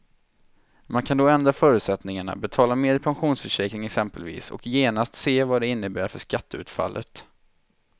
Man kan då ändra förutsättningarna, betala mera i pensionsförsäkring exempelvis och genast se vad det innebär för skatteutfallet.